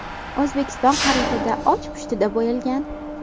O‘zbekiston xaritada och pushtiga bo‘yalgan.